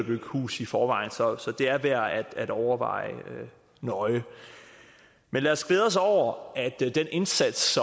bygge hus i forvejen så så det er værd at overveje nøje lad os glæde os over at den indsats